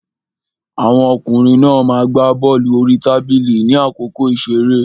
Àwọn ọkùnrin náà ma gbá bọ́lù orí tábìlì ní àkókò ìṣeré.